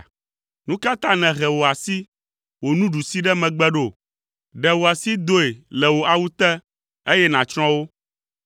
Nu ka ta nèhe wò asi, wò nuɖusi ɖe megbe ɖo? Ɖe wò asi doe le wò awu te, eye nàtsrɔ̃ wo!